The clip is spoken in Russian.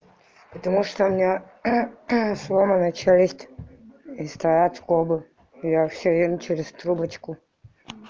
потому что у меня сломана челюсть и стоят скобы я всё ем через трубочку